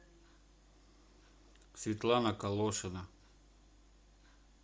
светлана калошина